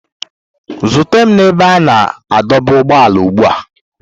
Zute m na ebe a na-adọba ụgbọala ugbu a!